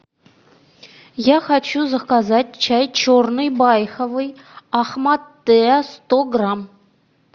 я хочу заказать чай черный байховый ахмат теа сто грамм